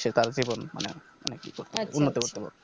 Settle জীবন মানে মানে কি করবে উন্নতি করতে পারবে